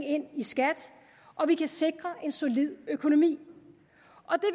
ind i skat og vi kan sikre en solid økonomi